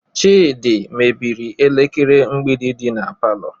Chidi mebiri elekere mgbidi dị na palọ